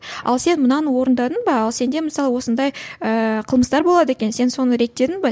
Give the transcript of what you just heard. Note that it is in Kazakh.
ал сен мынаны орындадың ба ал сенде мысалы осындай ыыы қылмыстар болады екен сен соны реттедің бе